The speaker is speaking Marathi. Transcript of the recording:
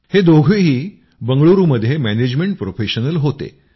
हे दोघेही बंगलुरूमध्ये मॅनेजमेंट प्रोफेशनल होते